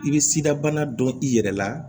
I bɛ sidabana dɔn i yɛrɛ la